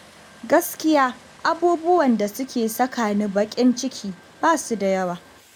Gaskiya abubuwan da suke saka ni baƙin ciki basu da yawa